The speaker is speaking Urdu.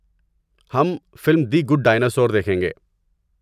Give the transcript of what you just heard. ہم فلم دی گڈ ڈائناسور دیکھیں گے۔